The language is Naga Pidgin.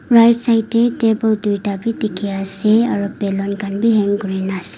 right side de table tuita b diki ase aro balloon kan b hang kurina ase--